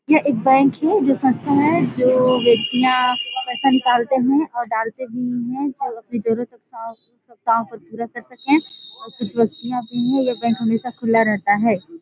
ये एक बैंक है जो संस्था है जो व्यक्तियाँ अपना पैसा निकलते है और डालते भी है और कुछ व्यक्तियाँ भी है बैंक हमेशा खुला रहता हैं।